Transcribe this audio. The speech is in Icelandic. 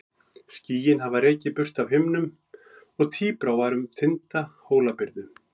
Skýin hafði rekið burt af himninum og tíbrá var um tinda Hólabyrðu.